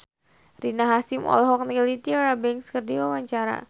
Rina Hasyim olohok ningali Tyra Banks keur diwawancara